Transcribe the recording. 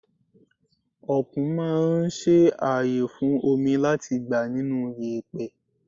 Okùn máa ń ṣe ààyè fún omi láti gbà nínú yèpẹ̀.